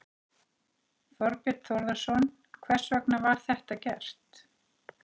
Þorbjörn Þórðarson: Hvers vegna var þetta gert?